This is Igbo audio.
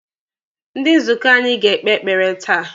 Ndi nzukọ anyị ga-ekpe ekpere taa.